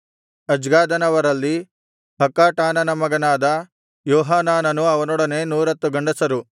ಅಜ್ಗಾದನವರಲ್ಲಿ ಹಕ್ಕಾಟಾನನ ಮಗನಾದ ಯೋಹಾನಾನನೂ ಅವನೊಡನೆ 110 ಗಂಡಸರು